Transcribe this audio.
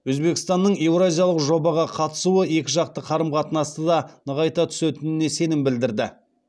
өзбекстанның еуразиялық жобаға қатысуы екіжақты қарым қатынасты да нығайта түсетініне сенім білдірді